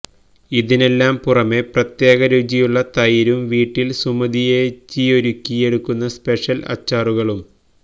ഇതിനെല്ലാം പുറമേ പ്രത്യേകരുചിയുള്ള തൈരും വീട്ടിൽ സുമതിയേച്ചിയൊരുക്കിയെടുക്കുന്ന സ്പെഷ്യൽ അച്ചാറുകളും